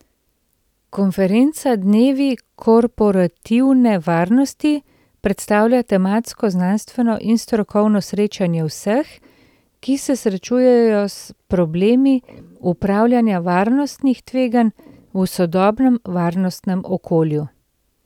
Konferenca Dnevi korporativne varnosti predstavlja tematsko znanstveno in strokovno srečanje vseh, ki se srečujejo s problemi upravljanja varnostnih tveganj v sodobnem varnostnem okolju.